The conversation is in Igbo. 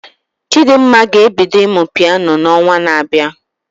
Chidimma ga-ebido ịmụ Piano na onwa na abịa